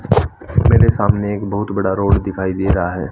मेरे सामने एक बहुत बड़ा रोड दिखाई दे रहा है।